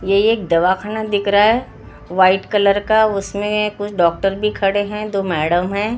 यह एक दवाख़णा दिख रहा है वाइट कलर का उसमें कुछ डॉक्टर भी खड़े हैं दो मैड़म हैं ।